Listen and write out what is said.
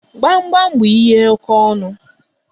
Gbamgbam bú ihe oke ọnụ